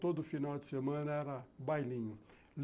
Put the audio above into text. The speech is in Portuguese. Todo final de semana era bailinho.